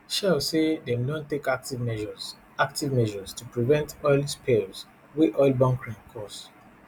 shell say dem don take active measures active measures to prevent oil spills wey oil bunkering cause